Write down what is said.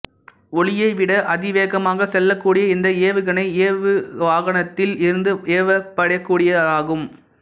ஒலியைவிட அதிவேகமாக செல்லக்கூடிய இந்த ஏவுகணை ஏவுவாகனத்தில் இருந்து ஏவப்படக்கூடியதாகும்